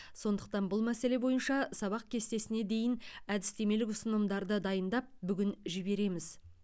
сондықтан бұл мәселе бойынша сабақ кестесіне дейін әдістемелік ұсынымдарды дайындап бүгін жібереміз